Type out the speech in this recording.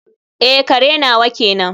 eh, kare nawa kenan